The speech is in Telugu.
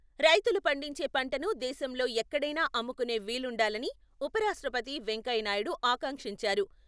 రైతులు పండించే పంటను దేశంలో ఎక్కడైనా అమ్ముకునే వీలుండాలని ఉపరాష్ట్రపతి వెంకయ్యనాయుడు ఆకాంక్షించారు.